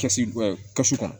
Kɛsi kɛsu kɔnɔ